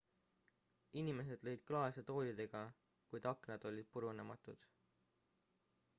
inimesed lõid klaase toolidega kuid aknad olid purunematud